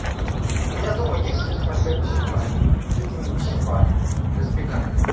у меня дома есть фольга пищевая именно пищевая для запекания